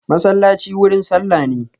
Masallaci wurin sallah ne